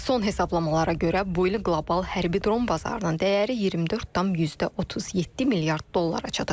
Son hesablamalara görə, bu il qlobal hərbi dron bazarının dəyəri 24,37 milyard dollara çatacaq.